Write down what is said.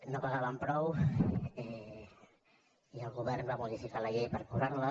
no pagàvem prou i el govern va modificar la llei per cobrar les